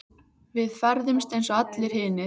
Við ferðumst eins og allir hinir.